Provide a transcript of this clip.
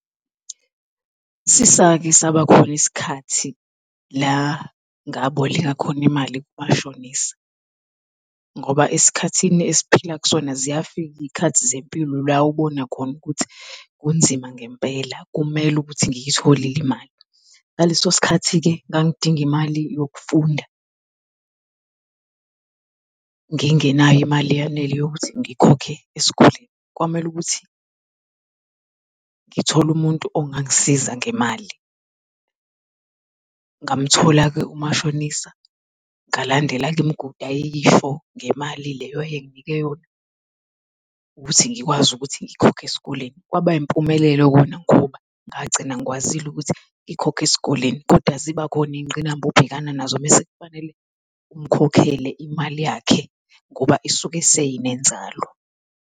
Sisake saba khona isikhathi la ngaboleka khona imali kumashonisa, ngoba esikhathini esiphila kusona ziyafika iy'khathi zempilo la obonakhona ukuthi kunzima ngempela kumele ukuthi ngiyitholile imali. Ngaleso sikhathi-ke, ngangdinga imali yokufunda. Ngingenayo imali eyanele yokuthi ngikhokhe esikoleni, kwamele ukuthi ngithole umuntu ongangisiza ngemali. Ngamthola-ke umashonisa ngalandela-ke imigudu ayeyisho ngemali leyo ayenginike yona. Ukuthi ngikwazi ukuthi ngikhokhe esikoleni, kwaba impumelelo kona ngoba ngagcina ngikwazile ukuthi ngikhokhe esikoleni kodwa ziba khona iy'ngqinamba obhekana nazo mese kfanele umkhokhele imali yakhe ngoba isuke seyinenzalo.